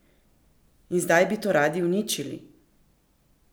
In zdaj bi to radi uničili?